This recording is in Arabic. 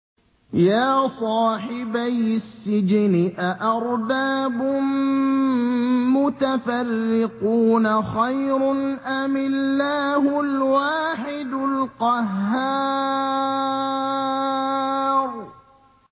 يَا صَاحِبَيِ السِّجْنِ أَأَرْبَابٌ مُّتَفَرِّقُونَ خَيْرٌ أَمِ اللَّهُ الْوَاحِدُ الْقَهَّارُ